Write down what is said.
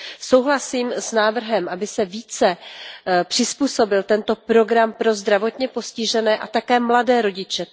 Souhlasím s návrhem, aby se více přizpůsobil tento program pro zdravotně postižené a také mladé rodiče.